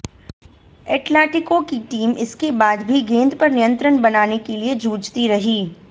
Atletico की team इसके बाद भी गेंद पर नियंत्रण बनाने के लिए जूझती रही